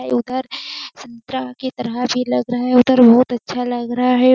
अ इधर संतरा के तरह भी लग रहा है उधर बहुत अच्छा लग रहा है।